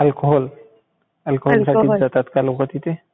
Alcohol. Alcohol साठी जातात का लोक तिथे?